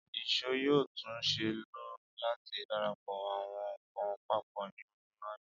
ìṣó yoo tun ṣee lo lati darapo awọn nkan papọ ni ọjọ iwaju.